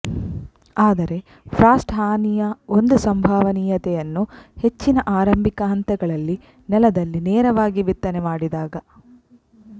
ಆದರೆ ಫ್ರಾಸ್ಟ್ ಹಾನಿಯ ಒಂದು ಸಂಭವನೀಯತೆಯನ್ನು ಹೆಚ್ಚಿನ ಆರಂಭಿಕ ಹಂತಗಳಲ್ಲಿ ನೆಲದಲ್ಲಿ ನೇರವಾಗಿ ಬಿತ್ತನೆ ಮಾಡಿದಾಗ